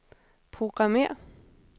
programmér